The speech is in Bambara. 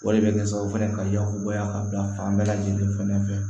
O de bɛ kɛ sababu ye ka yakubaya ka bila fan bɛɛ lajɛlen fɛnɛ fɛ